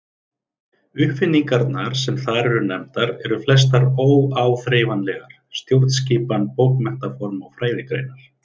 Uppfinningarnar sem þar eru nefndar eru flestar óáþreifanlegar: stjórnskipan, bókmenntaform og fræðigreinar.